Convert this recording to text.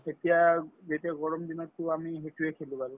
এতিয়া যেতিয়া গৰমদিনতো আমি সেইটোয়ে খেলো আৰু